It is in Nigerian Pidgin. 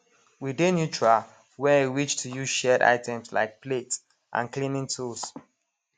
we dey neutral when e reach to use shared items like plates and cleaning tools